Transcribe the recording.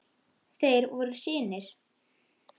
Þeir voru synir